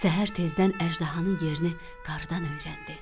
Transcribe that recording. Səhər tezdən əjdahanın yerini qarıdan öyrəndi.